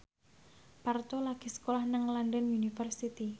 Parto lagi sekolah nang London University